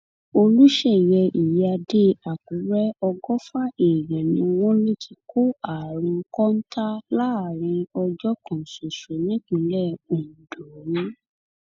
olùṣeyẹ ìyíáde àkùrẹ ọgọfà èèyàn ni wọn lọ ti kó àrùn kọńtà láàrin ọjọ kan ṣoṣo nípínlẹ ondo